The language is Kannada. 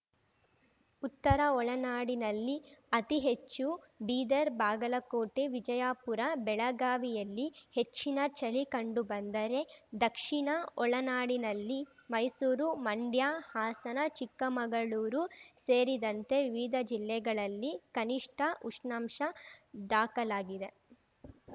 ಉತ್ತರ ಒಳನಾಡಿನಲ್ಲಿ ಅತಿ ಹೆಚ್ಚು ಬೀದರ್‌ ಬಾಗಲಕೋಟೆ ವಿಜಯಪುರ ಬೆಳಗಾವಿಯಲ್ಲಿ ಹೆಚ್ಚಿನ ಚಳಿ ಕಂಡು ಬಂದರೆ ದಕ್ಷಿಣ ಒಳನಾಡಿನಲ್ಲಿ ಮೈಸೂರು ಮಂಡ್ಯ ಹಾಸನ ಚಿಕ್ಕಮಗಳೂರು ಸೇರಿದಂತೆ ವಿವಿಧ ಜಿಲ್ಲೆಗಳಲ್ಲಿ ಕನಿಷ್ಠ ಉಷ್ಣಾಂಶ ದಾಖಲಾಗಿದೆ